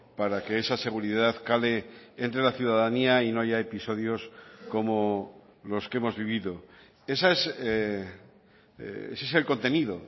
para que esa seguridad cale entre la ciudadanía y no haya episodios como los que hemos vivido ese es el contenido